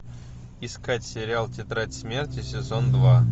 искать сериал тетрадь смерти сезон два